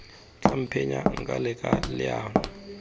tla mphenya nka leka leano